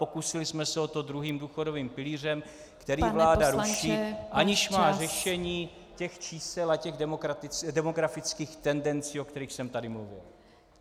Pokusili jsme se o to druhým důchodovým pilířem, který vláda ruší , aniž má řešení těch čísel a těch demografických tendencí, o kterých jsem tady mluvil.